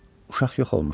Uşaq yox olmuşdu.